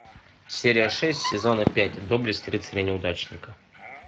серия шесть сезона пять доблесть рыцаря неудачника